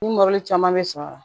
Ni caman bɛ sɔrɔ a la